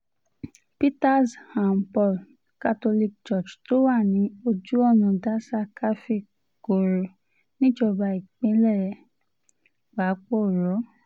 peters and paul catholic church tó wà ní ojú ọ̀nà daza káfíń-korò níjọba ìbílẹ̀ pàápọ̀rọ́